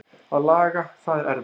Að laga það er erfiðara.